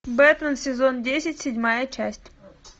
бэтмен сезон десять седьмая часть